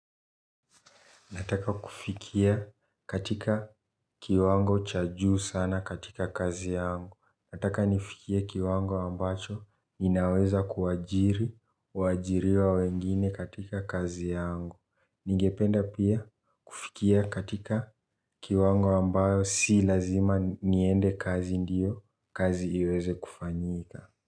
Nataka kufikia katika kiwango chaju sana katika kazi yangu. Nataka nifikie kiwango ambacho ninaweza kuwajiri, wajiriwa wengine katika kazi yangu. Ningependa pia kufikia katika kiwango ambayo si lazima niende kazi ndiyo, kazi iweze kufanyika.